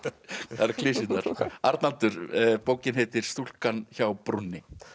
eru klisjurnar Arnaldur bókin heitir stúlkan hjá brúnni